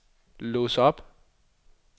lås op